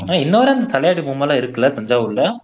ஆனா இன்னைவரை அந்த தலையாட்டி பொம்மைலாம் இருக்குல்ல தஞ்சாவூர்ல